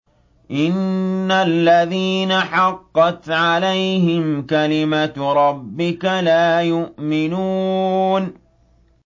إِنَّ الَّذِينَ حَقَّتْ عَلَيْهِمْ كَلِمَتُ رَبِّكَ لَا يُؤْمِنُونَ